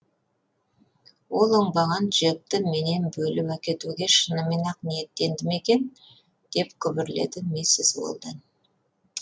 ол оңбаған джекті менен бөліп әкетуге шынымен ақ ниеттенді ме екен деп күбірледі миссис уэлдон